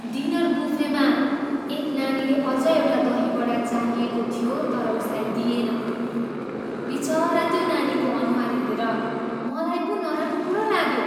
Dinner बुफेमा एक नानीले अझ एउटा दही वडा चाहिरहेको थियो तर उसलाई दिइएन। बिचरा त्यो नानीको अनुहार हेरेर मलाई पो नराम्रो लाग्यो।